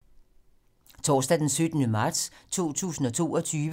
Torsdag d. 17. marts 2022